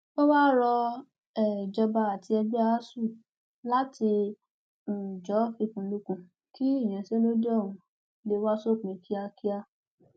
ó wáá rọ um ìjọba àti ẹgbẹ asuu láti um jó fikùnlukùn kí ìyanṣẹlódì ọhún lè wá sópin kíákíá